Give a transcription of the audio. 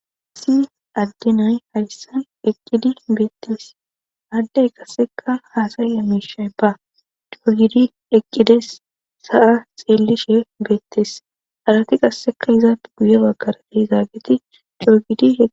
asi addenay hadyissan eqqidi beettes addey qasseka haasaya mishay ba cogidi eqqides sa7a xeellishe beettees arati qasseka izaafe guye bagara de'izaageti cogidi